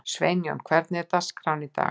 Sveinjón, hvernig er dagskráin í dag?